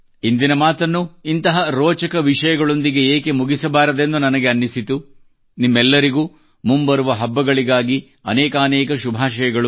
ಇಂದಿನ ಮಾತನ್ನು ಇಂತಹ ರೋಚಕ ವಿಷಯಗಳೊಂದಿಗೆ ಏಕೆ ಮುಗಿಸಬಾರದೆಂದು ನನಗೆ ಅನ್ನಿಸಿತು ನಿಮ್ಮೆಲ್ಲರಿಗೂ ಮುಂಬರುವ ಹಬ್ಬಗಳಿಗಾಗಿ ಅನೇಕಾನೇಕ ಶುಭಾಶಯಗಳು